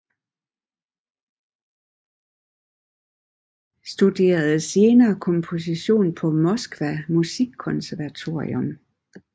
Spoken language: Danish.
Studerede senere komposition på Moskva musikkonservatorium